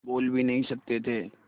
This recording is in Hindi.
बोल भी नहीं सकते थे